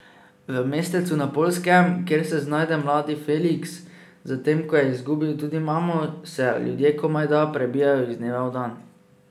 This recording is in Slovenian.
V mestecu na Poljskem, kjer se znajde mladi Feliks, zatem ko je izgubil tudi mamo, se ljudje komajda prebijajo iz dneva v dan.